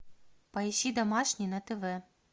поищи домашний на тв